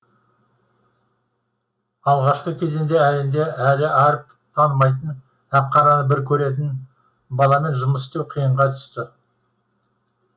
алғашқы кезеңде әрине әлі әріп танымайтын ақ қараны бір көретін баламен жұмыс істеу қиынға түсті